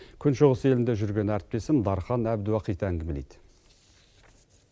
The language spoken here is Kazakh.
күн шығыс елінде жүрген әріптесім дархан әбдуахит әңгімелейді